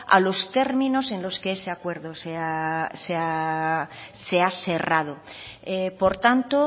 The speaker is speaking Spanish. a los términos en los que ese acuerdo se ha cerrado por tanto